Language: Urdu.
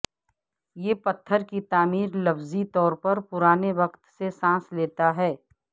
یہ پتھر کی تعمیر لفظی طور پر پرانے وقت سے سانس لیتا ہے